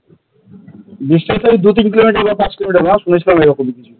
distance দু তিন kilometre বা পাঁচ কিলোমিটার না সুনেছিলাম এই রকমি কিছু।